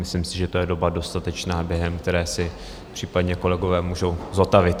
Myslím si, že to je doba dostatečná, během které se případně kolegové můžou zotavit.